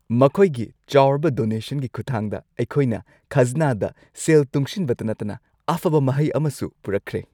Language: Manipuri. ꯃꯈꯣꯏꯒꯤ ꯆꯥꯎꯔꯕ ꯗꯣꯅꯦꯁꯟꯒꯤ ꯈꯨꯠꯊꯥꯡꯗ, ꯑꯩꯈꯣꯏꯅ ꯈꯥꯖꯅꯥꯗ ꯁꯦꯜ ꯇꯨꯡꯁꯤꯟꯕꯇ ꯅꯠꯇꯅ ꯑꯐꯕ ꯃꯍꯩ ꯑꯃꯁꯨ ꯄꯨꯔꯛꯈ꯭ꯔꯦ!